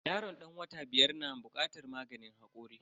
Yaron dan wata biyar na bukatar maganin hakori.